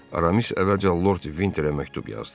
Aramis əvvəlcə Lord Vinterə məktub yazdı.